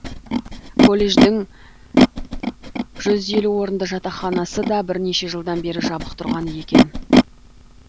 колледждің жүз елу орынды жатақханасы да бірнеше жылдан бері жабық тұрған еді